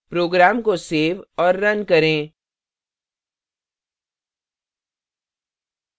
program को save और run करें